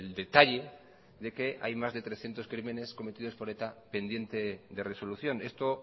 detalle de que hay más de trescientos crímenes cometidos por eta pendientes de resolución esto